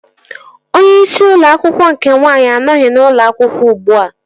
Onye isi ụlọ akwụkwọ nke nwaanyị anọghị n'ụlọ akwụkwọ ugbua